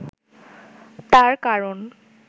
তার কারণ